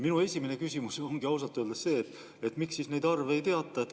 Minu esimene küsimus ongi ausalt öeldes see, miks siis neid arve ei teata.